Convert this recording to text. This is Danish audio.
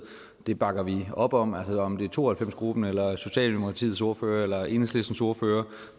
det bakker vi op om om det er to og halvfems gruppen eller socialdemokratiets ordfører eller enhedslistens ordfører